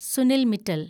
Sunil Mittal